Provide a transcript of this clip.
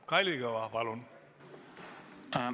Kalvi Kõva, palun!